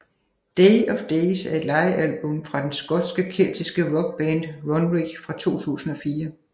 Day of Days er et livealbum fra den skotske keltiske rockband Runrig fra 2004